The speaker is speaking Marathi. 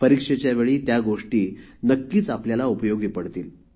परीक्षेच्या वेळी त्या गोष्टी नक्कीच आपल्याला उपयोगी पडतील